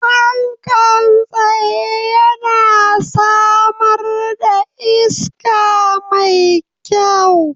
Fankan tsaye yana samar da iska mai kyau.